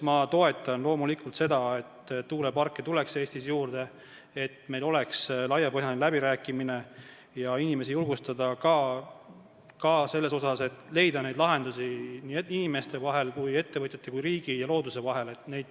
Ma toetan loomulikult seda, et tuuleparke tuleks Eestis juurde, et meil toimuksid laiapõhjalised läbirääkimised ja inimesi julgustataks, et leida lahendusi probleemidele nii inimeste vahel kui ka ettevõtjate või riigi ja looduse vahel.